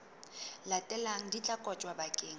latelang di tla kotjwa bakeng